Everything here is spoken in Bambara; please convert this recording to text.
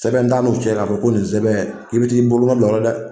Sɛbɛn t'an n'u cɛ k'a fɔ ko nin sɛbɛn k'i bɛ t'i bolonɔ bila o la dɛ